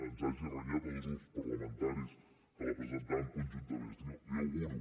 ens hagi renyat a dos grups parlamentaris que la presentàvem conjuntament la hi auguro